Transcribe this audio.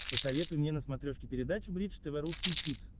посоветуй мне на смотрешке передачу бридж тв русский хит